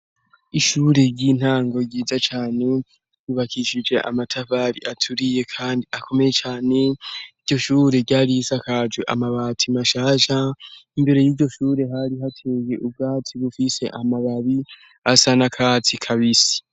Ishuri ry'intango ryiza cane yubakishije amatafari aturiye, kandi akomeye cane iryo shure ryarisa akajwe amabati mashasa imbere y'iryo shure hari hateye ubwatsi bufise amababi asa na katsi kabisi.